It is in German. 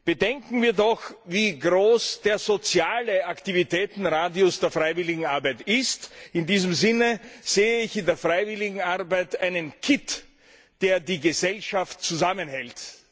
Bedenken wir doch, wie groß der soziale Aktivitätenradius der Freiwilligenarbeit ist. In diesem Sinne sehe ich in der Freiwilligenarbeit einen Kitt, der die Gesellschaft zusammenhält.